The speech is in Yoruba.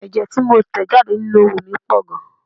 Ẹ̀jẹ tí mo ń tẹ̀ jáde nínú oówo mi pọ̀ gan-an.